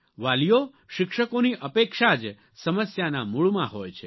વાલીઓ શિક્ષકોની અપેક્ષા જ સમસ્યાના મૂળમાં હોય છે